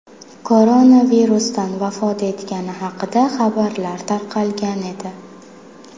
koronavirusdan vafot etgani haqida xabarlar tarqalgan edi .